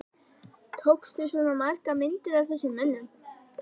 Tókstu svona margar myndir af þessum mönnum?